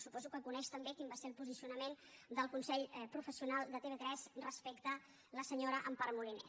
suposo que coneix també quin va ser el posicionament del consell professional de tv3 respecte a la senyora empar moliner